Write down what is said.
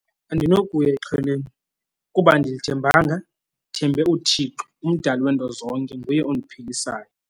Andinokuya exhweleni kuba andilithembanga, ndithembe uThixo, umdali weento zonke. Nguye ondiphilisayo.